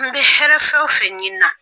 An bɛ hɛrɛ fɛn o fɛnw ɲinin na.